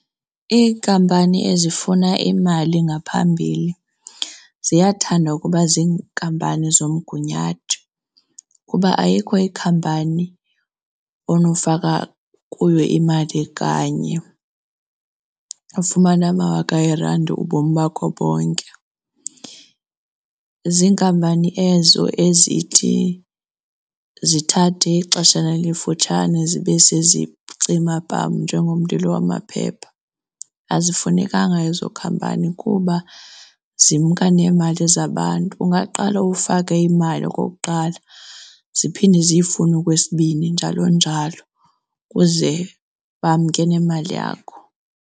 Iinkampani ezifuna imali ngaphambili ziyathanda ukuba ziinkampani zezomgunyathi kuba ayikho ikhampani onofaka kuyo imali kanye ufumane amawaka eerandi ubomi bakho bonke. Ziinkampani ezo ezithi zithathe ixeshana elifutshane zibe sezicima pam njengomlilo wamaphepha. Azifunekanga ezo khampani kuba zimka neemali zabantu. Ungaqala ufake imali okokuqala ziphinde ziyifune okwesibini njalo njalo ukuze bamke nemali yakho.